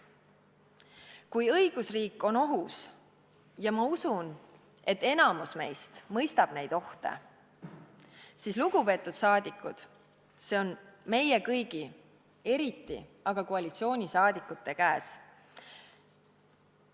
Kui õigusriik on ohus – ja ma usun, et enamik meist mõistab neid ohte –, siis, lugupeetud rahvasaadikud, see on meie kõigi, eriti aga koalitsiooniliikmete käes.